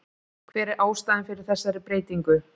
Hver er ástæðan fyrir þessari breytingu?